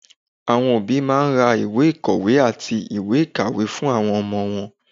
Àwọn òbí máa ra ìwé ìkọ̀wé àti ìwé ìkàwé fún àwọn ọmọ wọn.